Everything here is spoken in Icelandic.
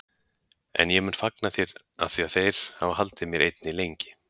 En ég mun fagna þér afþvíað þeir hafa haldið mér einni lengi.